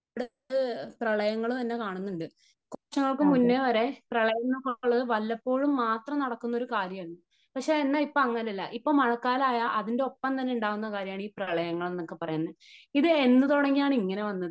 ഇവിടെ പ്രളയങ്ങൾ തന്നെ കാണുന്നുണ്ട്. കുറച്ച് നാൾക്ക് മുന്നേ വരെ പ്രളയം എന്ന് ഒക്കെ ഉള്ളത് വല്ലപ്പോഴും മാത്രം നടക്കുന്ന ഒരു കാര്യമാണ് . പക്ഷേ എന്ന ഇപ്പോ അങ്ങനയല്ല. ഇപ്പം മഴക്കാലം ആയാൽ അതിന്റെ ഒപ്പം തന്നെ ഉണ്ടാകുന്ന കാര്യമാണ് ഈ പ്രളയങ്ങൾ എന്നൊക്കെ പറയുന്നത് . ഇത് എന്ന് തുടങ്ങിയാണ് ഇങ്ങനെ വന്നത് ?